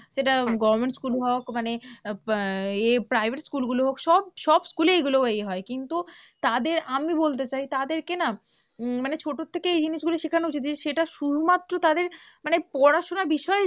সেটা government school হোক মানে আহ এ private school গুলো হোক সব সব school এ এইগুলো এ হয়, কিন্তু তাদের আমি বলতে চাই তাদেরকে না উম মানে ছোট থেকে এই জিনিসগুলো শেখানো উচিত যে সেটা শুধুমাত্র তাদের মানে পড়াশোনার বিষয়ে